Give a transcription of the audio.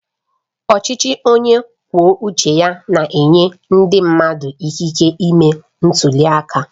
Ọchịchị onye kwuo uche ya na-enye ndị mmadụ ikike ịme ntuli aka